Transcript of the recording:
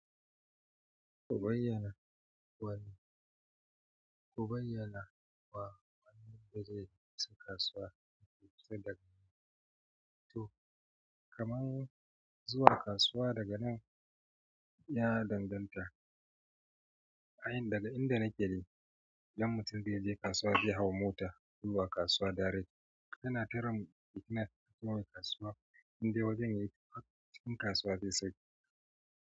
Ku bayyana wane, ku bayyana wa wanne zai je kasuwa ya fito daga nan. To, kaman zuwa kasuwa daga nan ya danganta a yan-- inda nake de. Dan mutum zai je kasuwa zai hau mota zuwa kasuwa direct yana karam lokacin zuwa kasuwa in dai wajen yake akwai kam kasuwa zai sauka.